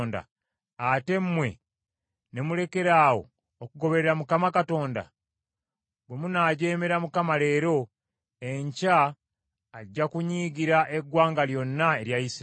ate mmwe ne mulekeraawo okugoberera Mukama Katonda? “ ‘Bwe munaajeemera Mukama leero, enkya ajja kunyiigira eggwanga lyonna erya Isirayiri.